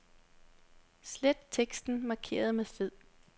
Slet teksten markeret med fed.